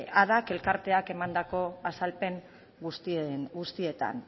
ada elkarteak emandako azalpen guztietan